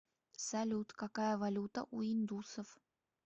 салют какая валюта у индусов